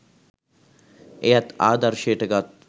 එයත් ආදර්ශයට ගත්